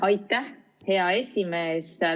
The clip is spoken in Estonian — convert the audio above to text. Aitäh, hea esimees!